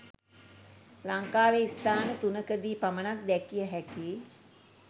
ලංකාවේ ස්ථාන තුනකදී පමණක් දැකිය හැකි